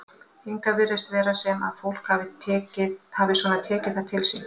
Hingað virðist vera sem að fólk hafi svona tekið það til sín?